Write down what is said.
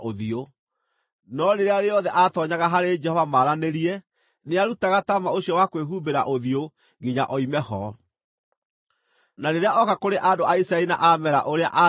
No rĩrĩa rĩothe aatoonyaga harĩ Jehova maranĩrie, nĩarutaga taama ũcio wa kwĩhumbĩra ũthiũ nginya oime ho. Na rĩrĩa oka kũrĩ andũ a Isiraeli na aameera ũrĩa aathĩtwo,